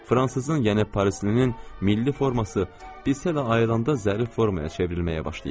Fransızın, yəni Parislinin milli forması, bilsə də ayrılanda zərif formaya çevrilməyə başlayıb.